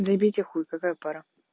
забейте хуй какая пара